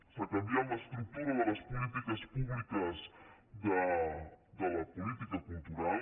s’ha canviat l’estructura de les polítiques públiques de la política cultural